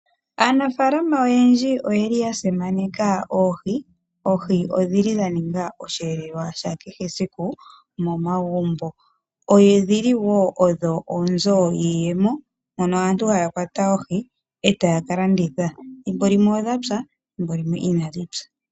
Aanafaalama oyendji oyeli ya simaneka oohi, oohi odhili dha ninga osheelelwa sha kehe esiku momagumbo. Oohi odhili wo odho oonzo dhiiyemo mono aantu haya kwata etaya ka landitha, thimbo limwe odha pya, thimbo limwe inadhi pya.